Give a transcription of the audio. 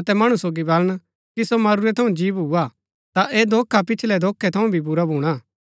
अतै मणु सोगी बलन कि सो मरूरै थऊँ जी भुआ ता ऐह धोखा पिछलै धोखै थऊँ भी बुरा भूणा